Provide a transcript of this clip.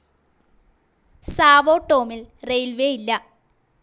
Sao ടോമിൽ railways ഇല്ല.